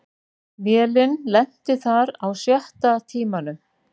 Vélin lenti þar á sjötta tímanum